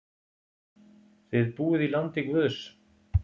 Þið búið í landi guðs.